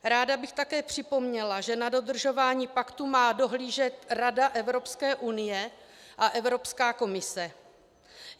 Ráda bych také připomněla, že na dodržování paktu má dohlížet Rada Evropské unie a Evropská komise.